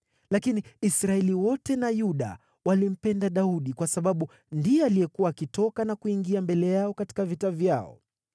Lakini Israeli wote na Yuda walimpenda Daudi, kwa sababu ndiye alikuwa akiwaongoza katika vita vyao.